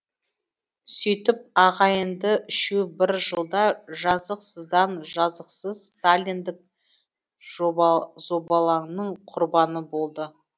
сөйтіп ағайынды үшеу бір жылда жазықсыздан жазықсыз сталиндік зобалаңның құрбаны болды